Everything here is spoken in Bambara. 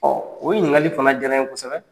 o ɲininkali fana jara n ye kosɛbɛ.